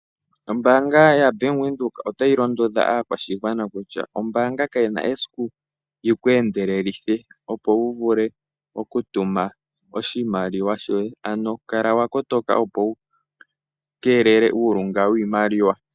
Ombaanga yaBank Windhoek otayi londodha aakwashigwana kutya ombaanga kayi na esiku yi ku endelelithe, opo wu vule okutuma oshimaliwa shoye. Kala wa kotoka opo wu keelele uulunga wiimaliwa.